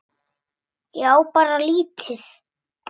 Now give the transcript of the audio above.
Ég á bara lítið.